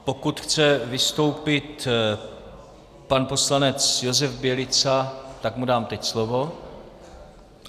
Pokud chce vystoupit pan poslanec Josef Bělica, tak mu dám teď slovo.